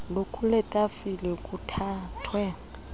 lukule tafile luthathwe